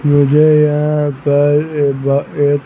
मुझे यहां पर एक --